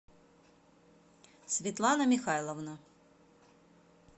светлана михайловна